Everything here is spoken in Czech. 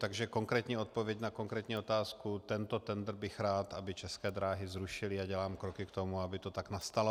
Takže konkrétní odpověď na konkrétní otázku: Tento tendr bych rád, aby České dráhy zrušily, a dělám kroky k tomu, aby to tak nastalo.